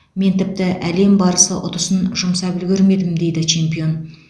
мен тіпті әлем барысы ұтысын жұмсап үлгермедім дейді чемпион